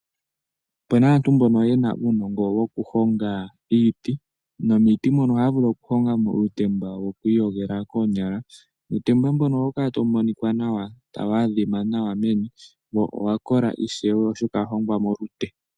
Opu na aantu ye na uunongo wokuhonga iiti, nomiiti mono ohaya vulu okuhonga mo uutemba wokwiiyogela koonyala, nuutemba mbono oha wu kala ta wu monika nawa, ta wu adhima nawa meni, wo owa kola ishewe oshoka owa hongwa molute.